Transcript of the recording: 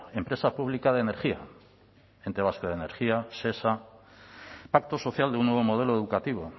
empresa pública de energía ente vasco de energía shesa pacto social de un nuevo modelo educativo